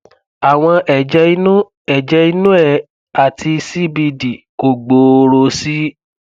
àwọn ẹjẹ inú ẹjẹ inú ẹ àti cbd kò gbòòrò sí i